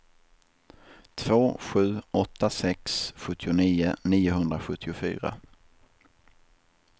två sju åtta sex sjuttionio niohundrasjuttiofyra